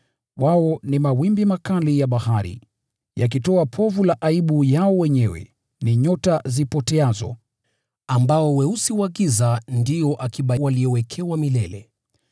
Wao ni mawimbi makali ya bahari, yakitoa povu la aibu yao wenyewe, ni nyota zipoteazo, ambao weusi wa giza ndio akiba waliowekewa milele.